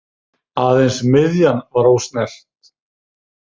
Aðeins miðjan var ósnert.